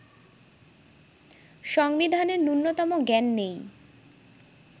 সংবিধানের ন্যূনতম জ্ঞান নেই